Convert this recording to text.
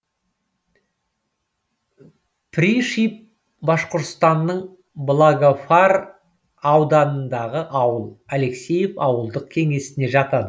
пришиб башқұртстанның благовар ауданындағы ауыл алексеев ауылдық кеңесіне жатады